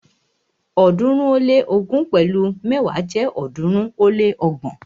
ọ̀ọ́dúnrún ó lé ógún pẹ̀lu mẹ́wa jẹ́ ọ̀ọ́dúnrún ó lé ọgbọ̀n.